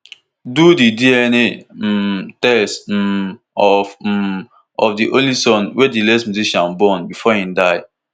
do di dna um test um of um of di only son wey di late musician born bifor e die